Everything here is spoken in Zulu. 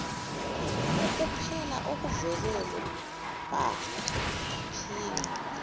ukupela okuvelele bangaphinde